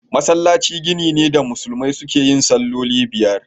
Masallaci gini ne da musulmi suke yin salloli biyar.